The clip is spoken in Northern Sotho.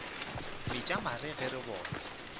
metša mare ge re bona